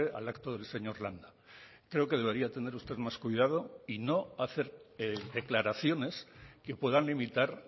al acto del señor landa creo que debería tener usted más cuidado y no hacer declaraciones que puedan limitar